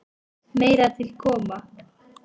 Meira til koma.